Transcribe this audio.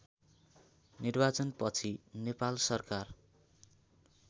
निर्वाचनपछि नेपाल सरकार